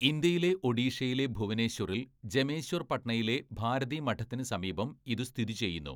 ഇന്ത്യയിലെ ഒഡീഷയിലെ ഭുവനേശ്വറിൽ ജമേശ്വർ പട്നയിലെ ഭാരതി മഠത്തിന് സമീപം ഇത് സ്ഥിതി ചെയ്യുന്നു.